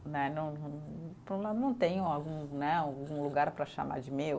Né não não, não tenho algum né, algum lugar para chamar de meu.